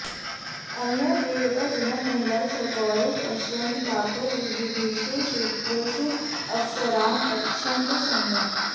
अनया प्रेरिताः जनाः महिलाः सगौरवं पश्यन्तः ताभ्यः विविधेषु क्षेत्रेषु अवसरान् यच्छन्तः सन्ति